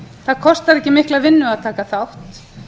það kostar ekki mikla vinnu að taka þátt